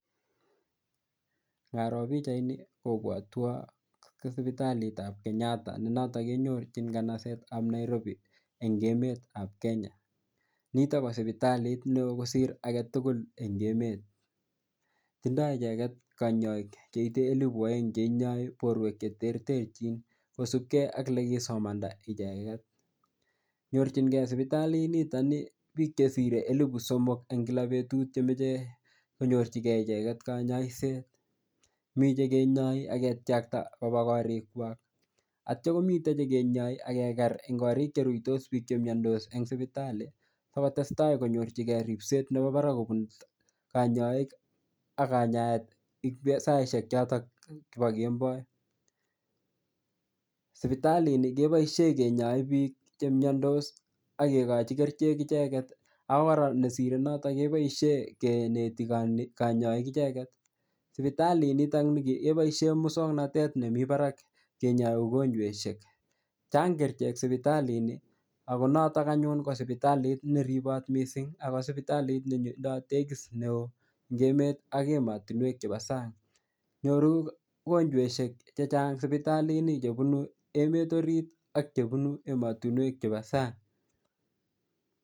Ngaroo pikchaini kopwotwo sipitalitab Kenyatta ne noto kenyorchin kanasetab Nairobi eng' emetab Kenya nito ko sipitalit neo kosir agetugul eng' emet tindoi icheget kanyoik cheitei elibu oeng' cheinyoi borwek cheterterchin kosupkei ak olekisomanda icheget nyorchingei sipitalini piik chesirei elibu somok eng kila betut chemochei konyorchingei icheget kanyaishet mi chekenyoi aketyakta koba korikwak aityo komitei chekenyoi akeker eng' korik cheruitos piik chemdos eng' sipitali sikotestai konyorchingei ripset nebo barak kobun kanyoik ak kanyaet saishek choto bo kemboi sipitalini keboishee kenyoe piik chemyondos akekochi kerchek icheget ako kora nesirei noto keboishe keneti kanyoik icheget sipitalit nitokni keboishe mosong'natet nemi barak kenyoi mogonjwekshek chang' kerichek sipitalini Ako noto anyun ko sipitalit neribot mising Ako sipitalit ne tindoi tekis neo eng' emet ak emotinwek chebo sang' nyoru mogonjweshek chechang' sipitalini chebunu emet arit ak chebunu ematinwek chebo sang'